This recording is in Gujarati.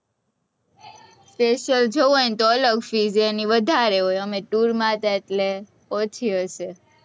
special જવું હોય તો અલગ fees એની વધારે હોય, અમે tour માં હતા એટલે ઓછી હશે,